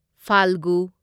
ꯐꯥꯜꯒꯨ